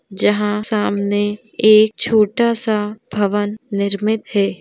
जहां सामने एक छोटा सा भवन निर्मित है।